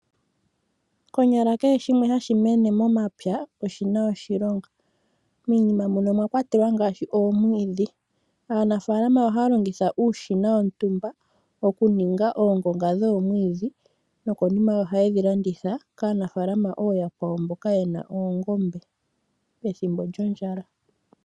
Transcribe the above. Konyala kehe simwe hashi mene momapya oshina oshilongo miinima mbika omwa kwatelwa ngaashi omwiidhi. Aanafalama ohaya longitha uushina wontumba okuninga oongonga dhomwiidhi nokonima ohaye dhi landitha kaanafalama ooyakwawo mboka ye na oongombe pethimbo lyondjala.